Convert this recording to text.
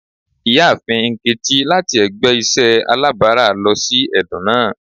Iyaafin Nkechi lati ẹgbẹ iṣẹ alabara lọ si ẹdun naa.